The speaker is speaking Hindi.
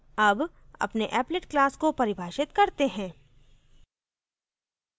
अब अपने applet class को परिभाषित करते हैं